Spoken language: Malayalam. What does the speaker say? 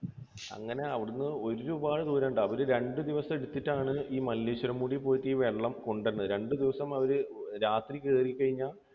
അങ്ങനെ അവിടെനിന്ന് ഒരുപാട് ദൂരം ഉണ്ട്. അവർ രണ്ടുദിവസം എടുത്തിട്ടാണ് ഈ മല്ലേശ്വരം മുടിയിൽ പോയിട്ട് ഈ വെള്ളം കൊണ്ടുവരുന്നത്. രണ്ടുദിവസം അവർ രാത്രി കയറി കഴിഞ്ഞാൽ